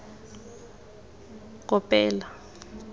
kopela